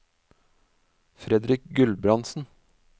Fredrik Gulbrandsen